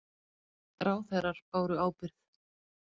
Ráðherrar báru ábyrgð